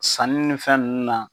Sanni ni fɛn ninnu na